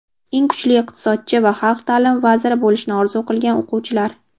eng kuchli iqtisodchi va xalq ta’limi vaziri bo‘lishni orzu qilgan o‘quvchilar.